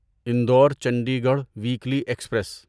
Indore Chandigarh weekly express